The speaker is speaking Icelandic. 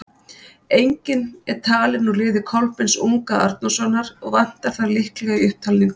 Enginn er talinn úr liði Kolbeins unga Arnórssonar, og vantar þar líklega í upptalninguna.